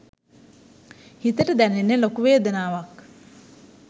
හිතට දැනෙන්නේ ලොකු වේදනාවක්.